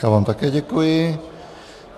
Já vám také děkuji.